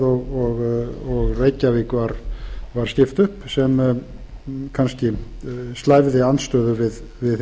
og reykjavík var skipt upp sem kannski slævði andstöðu við það síðara það er skemmst frá því